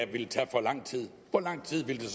ville tage for lang tid hvor lang tid ville